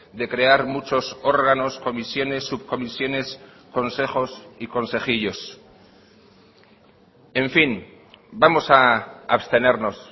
de crear muchos órganos comisiones subcomisiones consejos y consejillos en fin vamos a abstenernos